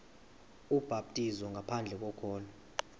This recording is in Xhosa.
ubhaptizo ngaphandle kokholo